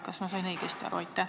Kas ma sain õigesti aru?